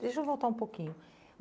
Deixa eu voltar um pouquinho.